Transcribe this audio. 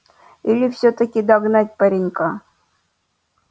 или всё-таки догнать паренька